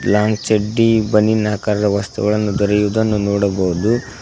Long ಚೆಡ್ಡಿ ಬನಿನ ಆಕಾರ ವಸ್ತುಗಳನ್ನು ದೊರೆಯುವುದನ್ನು ನೋಡಬಹುದು.